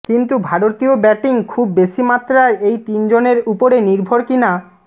কিন্তু ভারতীয় ব্যাটিং খুব বেশি মাত্রায় এই তিনজনের উপরে নির্ভর কি না